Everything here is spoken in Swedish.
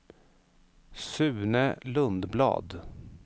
Sune Lundblad